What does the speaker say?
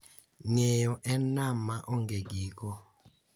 Ng’eyo en nam ma onge giko